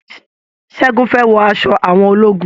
Ṣẹ́gun fẹ́ wọ aṣọ àwọn ológun.